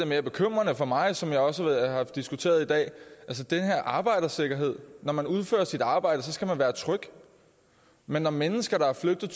mere bekymrende for mig som jeg også har diskuteret i dag altså den her arbejdersikkerhed når man udfører sit arbejde skal man være tryg men når mennesker er flygtet